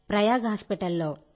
Prayag hospital లో